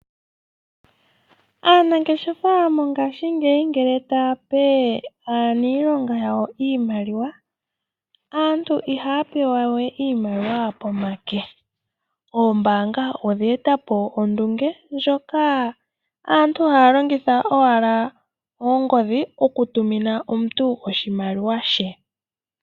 Aanangeshefa mongashingeyi ngele taape aanilonga yawo iimaliwa, aantu iha ya pe wawe iimaliwa pomake, oombanga odhe tapo ondunge ndjoka aantu haalongitha owala oongodhi oku tumina omuntu oshimaliwa she.